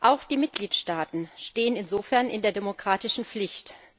Auch die Mitgliedstaaten stehen insofern in der demokratischen Pflicht.